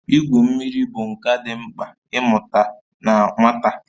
Igwu mmiri bụ nka dị mkpa ị mụta na nwata